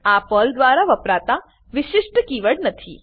આ પર્લ દ્વારા વપરાતા વિશિષ્ટ કીવર્ડ નથી